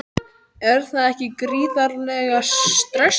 Er það ekki gríðarlega stressandi?